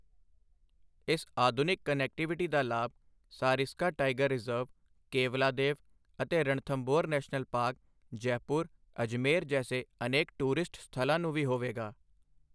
ਇਸ ਆਧੁਨਿਕ ਕਨੈਕਟੀਵਿਟੀ ਦਾ ਲਾਭ ਸਰਿਸਕਾ ਟਾਈਗਰ ਰਿਜ਼ਰਵ, ਕੇਵਲਾਦੇਵ ਅਤੇ ਰਣਥੰਭੌਰ ਨੈਸ਼ਨਲ ਪਾਰਕ, ਜੈਪੁਰ, ਅਜਮੇਰ, ਜੈਸੇ ਅਨੇਕ ਟੂਰਿਸਟ ਸਥਲਾਂ ਨੂੰ ਵੀ ਹੋਵੇਗਾ।